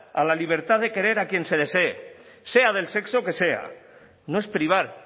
a la libertad de querer a quien se desee sea del sexo que sea no es privar